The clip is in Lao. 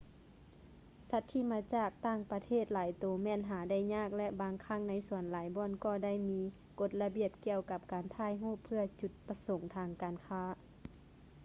ສັດທີ່ມາຈາກຕ່າງປະເທດຫຼາຍໂຕແມ່ນຫາໄດ້ຍາກ ແລະ ບາງຄັ້ງໃນສວນຫຼາຍບ່ອນກໍໄດ້ມີກົດລະບຽບກ່ຽວກັບການຖ່າຍຮູບເພື່ອຈຸດປະສົງທາງການຄ້າ